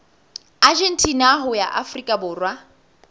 argentina ho ya afrika borwa